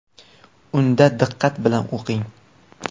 Unda diqqat bilan o‘qing.